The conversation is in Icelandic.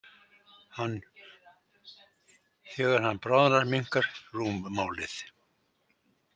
Þegar hann bráðnar minnkar rúmmálið.